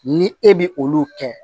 Ni e bɛ olu kɛ